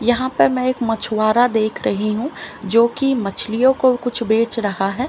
यहाँ पे मै एक मछूवारा देख रही हु जो की मछलियों को कुछ बेच रहा है।